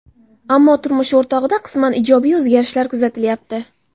Ammo turmush o‘rtog‘ida qisman ijobiy o‘zgarishlar kuzatilyapti.